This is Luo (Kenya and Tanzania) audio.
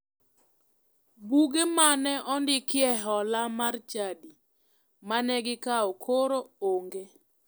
Buge mane ondikie hola mar chadi mane gikao koro onge.